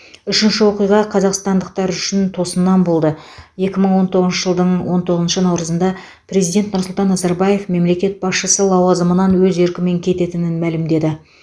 үшінші оқиға қазақстандықтар үшін тосыннан болды екі мың он тоғызыншы жылдың он тоғызыншы наурызында президент нұрсұлтан назарбаев мемлекет басшысы лауазымынан өз еркімен кететінін мәлімдеді